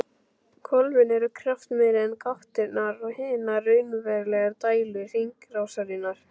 Hvolfin eru kraftmeiri en gáttirnar og hinar raunverulegu dælur hringrásarinnar.